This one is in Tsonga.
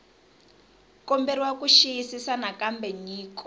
komberiwa ku xiyisisisa nakambe nyiko